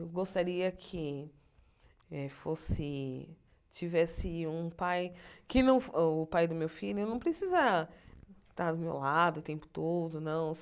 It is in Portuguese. Eu gostaria que eh fosse tivesse um pai, que não o pai do meu filho não precisa estar do meu lado o tempo todo, não.